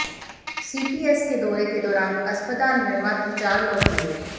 CPS के दौरे के दौरान अस्पताल में मात्र चार लोग मिले